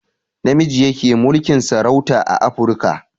Namiji yake mulkin sarauta a afruka